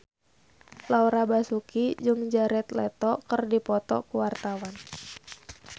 Laura Basuki jeung Jared Leto keur dipoto ku wartawan